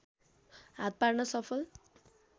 हात पार्न सफल